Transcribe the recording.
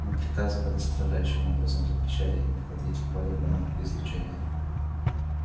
мы приказывали строжайшим образом запрещали им входить в поле гамма-излучения